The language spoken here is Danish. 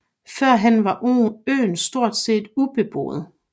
Førhen var øen stort set ubeboet